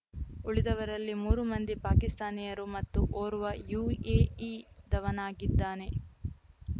ಉಳಿದವರಲ್ಲಿ ಮೂರು ಮಂದಿ ಪಾಕಿಸ್ತಾನಿಯರು ಮತ್ತು ಓರ್ವ ಯುಎಇದವನಾಗಿದ್ದಾನೆ